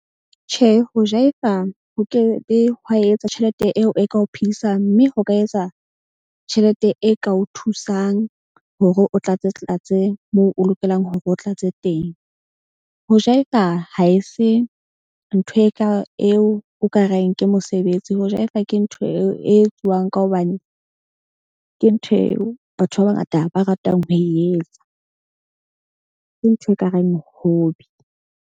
Tjhe, ho jaefa ho ke ho etsa tjhelete eo e ka o phedisang. Mme ho ka etsa tjhelete e ka o thusang hore o tlatse tlatse moo o lokelang hore o tlatse teng. Ho jaefa, ha e se ntho e ka eo o ka reng ke mosebetsi. Ho jaefa ke ntho eo e etsuwang ka hobane ke ntho eo batho ba bangata ba ratang ho e etsa. Ke ntho ekareng hobby.